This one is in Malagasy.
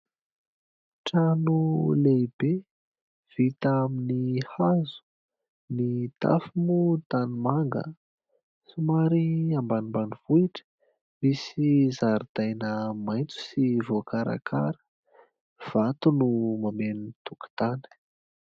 Trano lehibe: vita amin' ny hazo, ny tafo moa tanimanga, somary ambanimbanivohitra, misy zaridaina maitso sy voakarakara, vato no mameno ny tokontany.